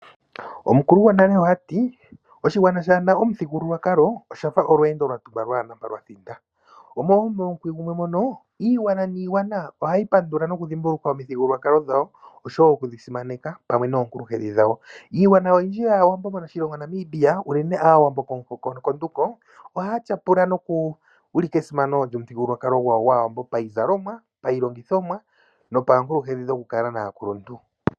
Omukulu gwonale oha ti:" Oshigwana shaa na omuthigululwakalo osha fa olweendo lwa tumba lwaa na mpoka lwa thinda." Momukwi gumwe mono iigwana niigwana ohayi pandula nokudhimbulukwa omithigululwakalo dhawo, oshowo okudhi simaneka pamwe noonkulunkedhi dhawo. Iigwana oyindji moNamibia unene Aawambo komuhoko konduko ohaya tyapula nokuulika esimano lyomuthigululwakalo gwawo payizalomwa, pailongithomwa nopaankulunkedhi dhokukala naakuluntu.